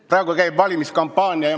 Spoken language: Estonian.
Praegu käib valimiskampaania.